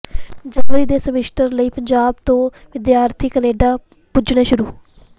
ਜਨਵਰੀ ਦੇ ਸਮੈਸਟਰ ਲਈ ਪੰਜਾਬ ਤੋਂ ਵਿਦਿਆਰਥੀ ਕੈਨੇਡਾ ਪੁੱਜਣੇ ਸ਼ੁਰੂ